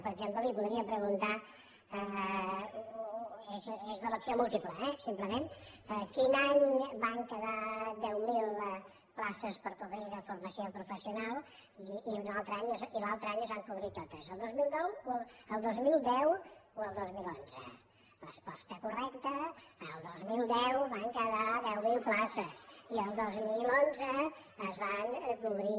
per exemple li podria preguntar és d’elecció múltiple eh simplement quin any van quedar deu mil places per cobrir de formació professio nal i l’altre any es van cobrir totes el dos mil nou el dos mil deu o el dos mil onze resposta correcta el dos mil deu van quedar deu mil places i el dos mil onze es van cobrir